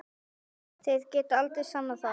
Þeir geta aldrei sannað það!